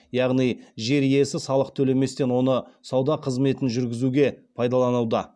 яғни жер иесі салық төлеместен оны сауда қызметін жүргізуге пайдалануда